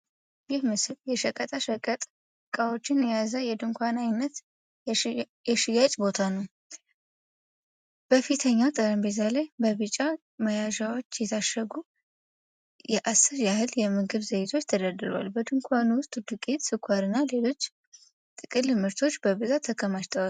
ይህ ምስል የሸቀጣ ሸቀጥ ዕቃዎችን የያዘ የድንኳን አይነት የሽያጭ ቦታ ነው። በፊተኛው ጠረጴዛ ላይ በቢጫ መያዣዎች የታሸጉ የአስር ያህል የምግብ ዘይቶች ተደርድረዋል። በድንኳኑ ውስጥ ዱቄት፣ ስኳርና ሌሎች ጥቅል ምርቶች በብዛት ተከማችተዋል።